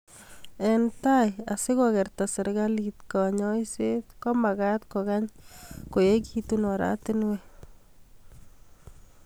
eng tai, asigogerta serikalit kanyuiset komagaat kogany koegigitu oratinwek